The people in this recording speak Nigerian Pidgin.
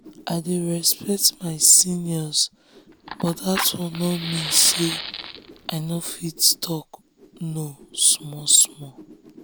i de respect my seniors but dat one nor mean say i nor fit talk no small small